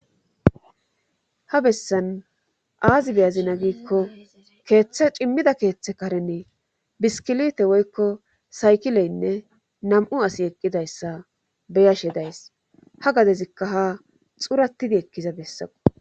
ha bessan aazi beyazina giikko keeththa cimmida keeththe karene biskilite woykko saykileynne nam7u asi eqqidayssa beyashe days ha gadezikka ha xuratidi ekkiza bessako